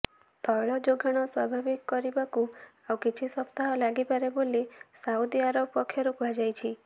ତୈଳ ଯୋଗାଣ ସ୍ୱାଭାବିକ କରିବାକୁ ଆଉ କିଛି ସପ୍ତାହ ଲାଗିପାରେ ବୋଲି ସାଉଦି ଆରବ ପକ୍ଷରୁ କୁହାଯାଇଛି